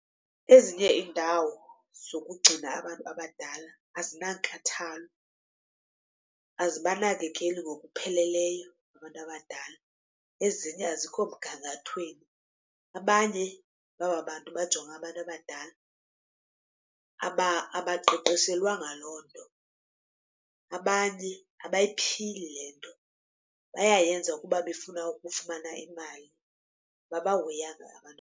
Ezinye iindawo zokugcina abantu abadala azinankathalo, azibanakekeli ngokupheleleyo abantu abadala. Ezinye azikho mgangathweni, abanye bababantu bajonga abantu abadala abaqeqeshelwa loo nto. Abanye abayiphili le nto bayayenza kuba befuna ukufumana imali ababahoyanga abantu abadala.